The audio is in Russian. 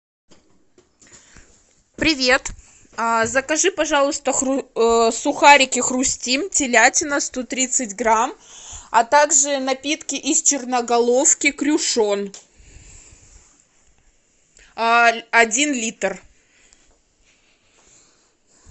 привет закажи пожалуйста сухарики хрустим телятина сто тридцать грамм а также напитки из черноголовки крюшон один литр